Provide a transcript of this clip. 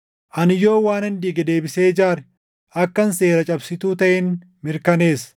Ani yoon waanan diige deebisee ijaare akkan seera cabsituu taʼen mirkaneessa.